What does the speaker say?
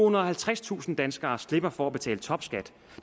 og halvtredstusind danskere slipper for at betale topskat